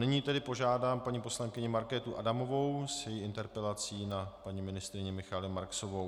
Nyní tedy požádám paní poslankyni Markétu Adamovou s její interpelací na paní ministryni Michaelu Marksovou.